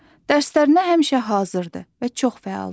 Dərslərinə həmişə hazırdır və çox fəaldır.